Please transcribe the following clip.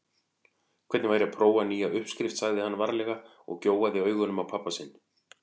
Hvernig væri að prófa nýja uppskrift sagði hann varlega og gjóaði augunum á pabba sinn.